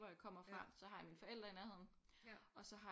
Hvor jeg kommer fra så har jeg mine forældre i nærheden og så har